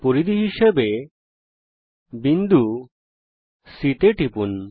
পরিধি হিসাবে বিন্দু C তে টিপুন